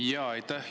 Jaa, aitäh!